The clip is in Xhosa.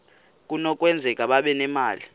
kunokwenzeka babe nemali